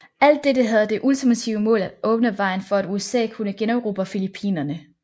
Alt dette havde det ultimative mål at åbne vejen for at USA kunne generobre Filippinerne